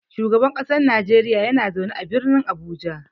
Shugaban kasar Nijeriya yana zaune a Birnin Abuja.